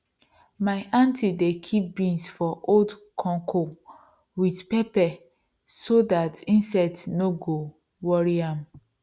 my aunty dey kip beans for old conco wit pepper so dat insect no go wori am